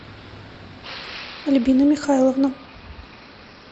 альбина михайловна